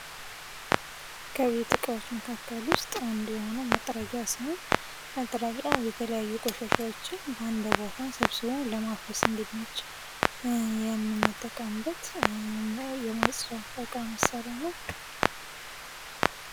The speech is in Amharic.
ከቤት እቃዎች መካከል ዉስጥ አንዱ የሆነዉ መጥረጊያ ሲሆን መጥረጊያ የተለያዩ ቆሻሻዎችን አንድ ቦታ ሰብስቦ ለማፈስ እንዲመች የምንጠቀምበት የማፅጃ እቃ መሳሪያ ነዉ።